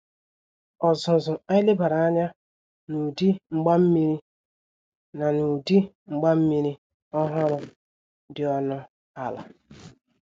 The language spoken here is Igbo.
Ọzuzụ anyi lebara anya n' udi mgbammiri n' udi mgbammiri ọhụrụ dị ọnụ ala